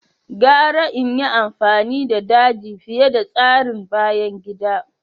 Gara in yi amfani da daji fiye da tsarin bayan gida.